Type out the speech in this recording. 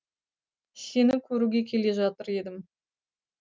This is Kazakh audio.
сені көруге келе жатыр едім